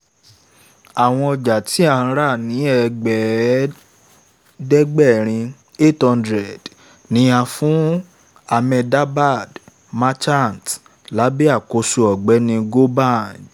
àwọn ọjà tí a rà ní ẹ̀ẹ́dẹ́gbẹ̀rin( eight hundred ) ni a fún ahmedabad merchants lábẹ̀ àkóso ọ̀gbẹ́ni gobind